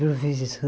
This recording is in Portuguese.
Professor